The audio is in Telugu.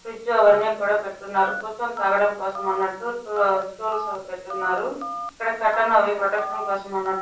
ఫ్రిజ్జు అవన్నీ కూడా పెట్టి ఉన్నారు. తాగడానికి కోసం అన్నట్టు స్టూల్స్ కట్ అయింది. అవి ప్రొటెక్షన్ కొసం అన్నట్టు--